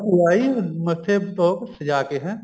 ਭੂਆ ਆਈ ਮੱਥੇ ਚੋਕ ਸਜ਼ਾ ਕੇ ਹੈਂ